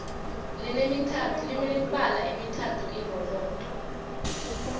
line mibala emithathu irobodo